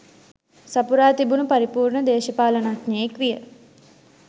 සපුරා තිබුණු පරිපූර්ණ දේශපාලනඥයෙක් විය